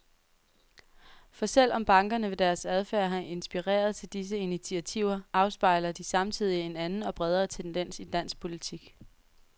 For selv om bankerne ved deres adfærd har inspireret til disse initiativer, afspejler de samtidig en anden og bredere tendens i dansk politik.